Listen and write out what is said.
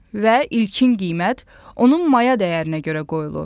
Və ilkin qiymət onun maya dəyərinə görə qoyulur.